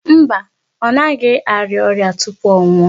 Mba. Ọ naghị arịa tupu ọ nwụọ.